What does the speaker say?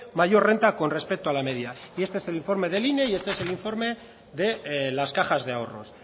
mayor renta con respecto a la media y este es el informe del ine y este es el informe de las cajas de ahorros